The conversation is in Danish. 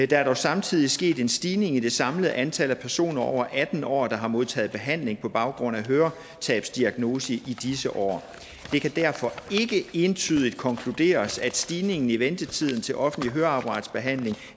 der er dog samtidig sket en stigning i det samlede antal personer over atten år der har modtaget behandling på baggrund af høretabsdiagnose i disse år det kan derfor ikke entydigt konkluderes at stigningen i ventetiden til offentlig høreapparatbehandling